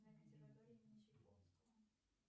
консерватории имени чайковского